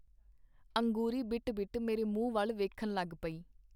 ਅੰਗੂਰੀ ਬਿਟ ਬਿਟ ਮੇਰੇ ਮੂੰਹ ਵਲ ਵੇਖਣ ਲਗ ਪਈ.